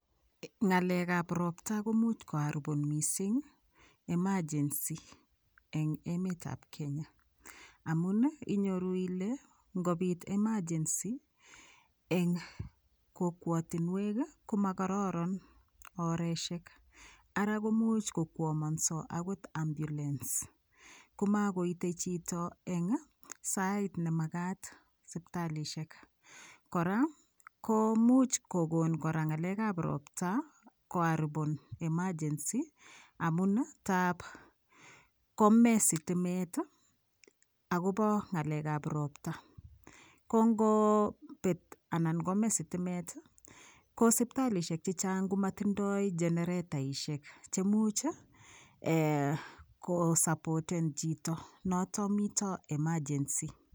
Ng'alekap ropta komuch koaripon mising emergency eng emetap Kenya amun inyoru ile ngopit [ca]emergency eng kokwotinwek komakororon oreshek ara komuch kokwomonso akot ambulance komakoitei chito eng sait nemakat sipitalishek kora komuch kokon kora ng'alek ap ropta koaripon emergency amun tapkome sitimet akobo ng'alek ap ropta kongopet anan kome sitimet kosipitalishek chechang' komatindoi generetaishek chemuch kosapoten chito noto mito emergency